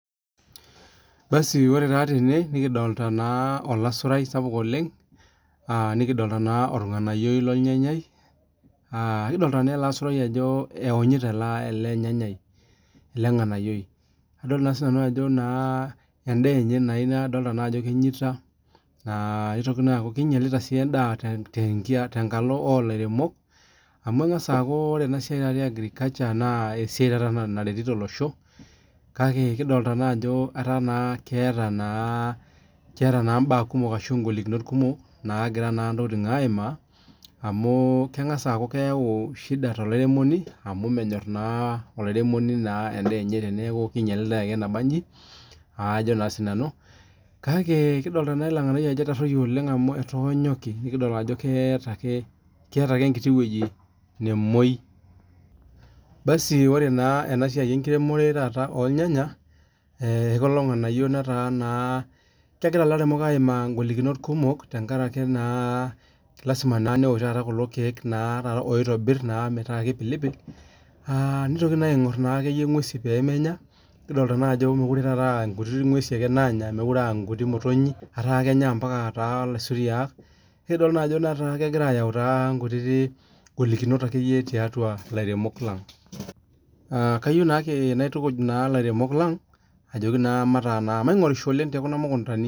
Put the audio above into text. basi ore naa tene nikidoolta alasurai sapuk ooleng lowonyita ornganayioi lornyanyai nadoolta naa ajo enaa enye naa kadoolta sii doi ajo kinyalita endaa oltunganak aa ilairemok naa kadol ajo kinyalita amuu agriculture esiai sapuk tenkalo oolairemok amuu keeta intokiting kumok ashu mbaa kumok naagira aayau toolairemok amu menyor naa sii ninyali endaa enye ainkonji. kidoolta sii aajo inyale ele nganayioi pii naa idol sii ajo keeta ake enkiti nemoi . Ore naa ilairemok naa kegira aimaa ngolikinot kimook tenkaraki ena aa taa ingwesin meekure ake aa imotonyi ake. kaitukuj ake ilairemok peingorisho toomukuntani